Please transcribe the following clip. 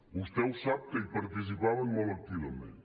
vostè ho sap que hi participaven molt activament